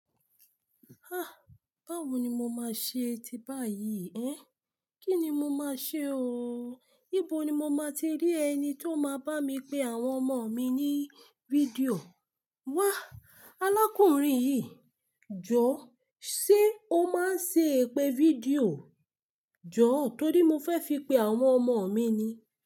Báwo ni mo máa ṣe ti báyìí ẹ́n? Kí ni mo máa ṣe ooo? Íbo ni mo máa ti rí ẹni tí ó máa bá mi pe àwọn ọmọ mi ní fídíò? Wá! Alákùnrin yìí, Jọ̀ọ́ ṣé o máa ń ṣe ìpè fídíò? Jọ̀ọ́ torí mo fẹ́ fi pe àwọn ọmọ mi ni.